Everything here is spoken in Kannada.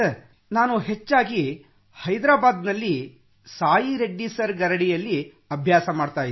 ನಾನು ಹೆಚ್ಚಾಗಿ ಹೈದರಾಬಾದ್ನಲ್ಲಿ ಸಾಯಿ ರೆಡ್ಡಿ ಸರ್ ಗರಡಿಯಲ್ಲಿ ಅಭ್ಯಾಸ ಮಾಡಿದ್ದೇನೆ